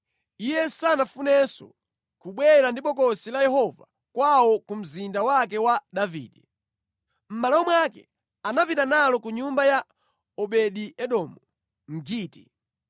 Iye sanafunenso kubwera ndi Bokosi la Yehova kawo ku mzinda wake wa Davide. Mʼmalo mwake anapita nalo ku nyumba ya Obedi-Edomu Mgiti.